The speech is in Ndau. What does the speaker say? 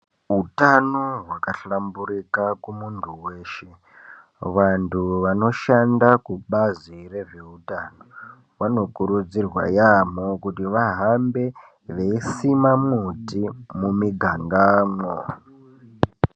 Utano hwakablaburika kumuntu weshe vanhu vanoshanda kubazi rezveutano vanokurudzirwa yambo kuti vahambe veyi sima muti mumiganga mo.